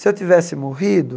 Se eu tivesse morrido...